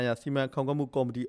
င်ရာ စီမံခန့်ခွဲမှုကော်မတီ